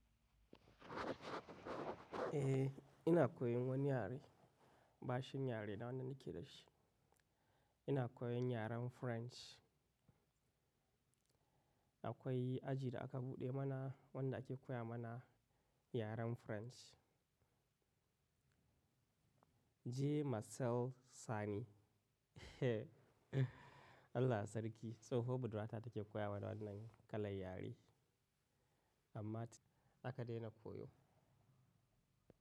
Eh, ina koyan wani yare, bashin yare da wannan nake da shi. Ina koyan yaren French. Akwai aji da aka buɗe mana wanda ake koya mana yaren French. J. Marcel Sani. Allah Sarki tsoho budurwa ta take koya mana wannan kalan yare, amma aka dena koyo.